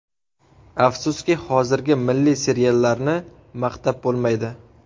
Afsuski, hozirgi milliy seriallarni maqtab bo‘lmaydi.